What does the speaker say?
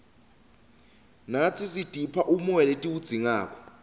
natsi sitipha umoya letiwudzingako